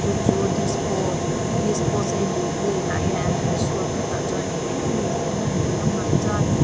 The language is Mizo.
chu chu dispo a disposeable plate ah hian an han suak a tah chuan eng eng emawni te an han telh a hmarcha nen--